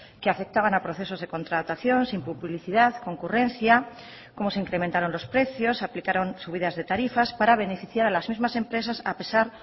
que afectaban a procesos de contratación sin publicidad concurrencia cómo se incrementaron los precios aplicaron subidas de tarifas para beneficiar a las mismas empresas a pesar